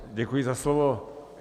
Děkuji za slovo.